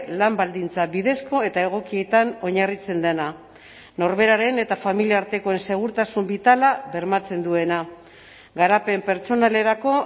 lan baldintza bidezko eta egokietan oinarritzen dena norberaren eta familia artekoen segurtasun bitala bermatzen duena garapen pertsonalerako